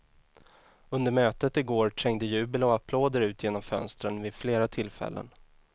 Under mötet igår trängde jubel och applåder ut genom fönstren vid flera tillfällen.